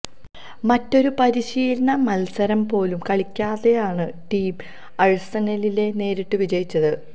മറ്റൊരു പരിശീലന മല്സരം പോലും കളിക്കാതെയാണ് ടീം ആഴ്സണലിനെ നേരിട്ട് വിജയിച്ചത്